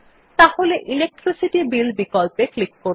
তাহলে electricity bill বিকল্পে click করুন